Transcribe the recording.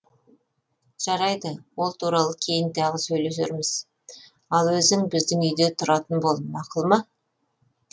жарайды ол туралы кейін тағы сөйлесерміз ал өзің біздің үйде тұратын бол мақұл ма